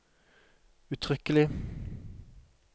uttrykkelig